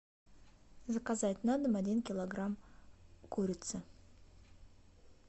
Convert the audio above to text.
заказать на дом один килограмм курицы